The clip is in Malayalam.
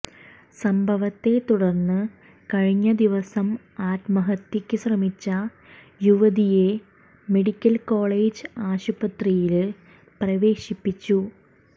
സംഭവത്തെ തുടര്ന്ന് കഴിഞ്ഞ ദിവസം ആത്മഹത്യയ്ക്ക് ശ്രമിച്ച യുവതിയെ മെഡിക്കല്കോളജ് ആശുപത്രിയില് പ്രവേശിപ്പിച്ചു